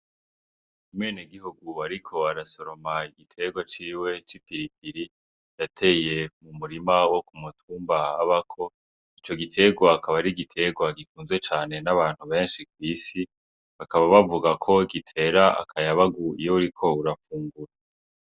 Imene gihugub, ariko arasoroma igitegwa ciwe c'i piripiri rateye mu murima wo ku mutumbabako ico gitegwakaba ari gitegwa gikunze cane n'abantu benshi kw'isi bakaba bavuga ko gitera akayabagu iyo uriko urapfungura.